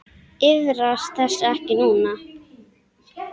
Iðrast þess ekki nú.